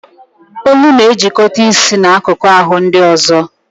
Olu na-ejikọta isi na akụkụ ahụ ndị ọzọ